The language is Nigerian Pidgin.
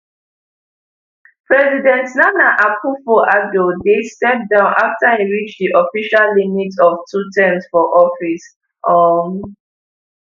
president nana akufoaddo dey step down afta e reach di official limit of two terms for office um